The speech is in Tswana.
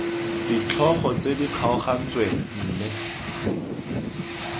ditlhogo tse di kgaogantsweng mme